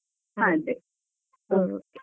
ಅದೇ .